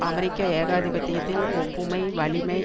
அமெரிக்க ஏகாதிபத்தியத்தின் ஒப்புமை வலிமை